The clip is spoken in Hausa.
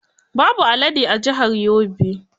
Babu alade a jihar Yobe.